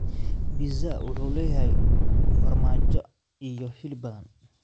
Pizza wuxuu leeyahay farmaajo iyo hilib badan.